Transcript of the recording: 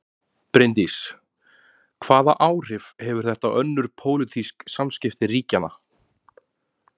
Bryndís: Hvaða áhrif hefur þetta á önnur pólitísk samskipti ríkjanna?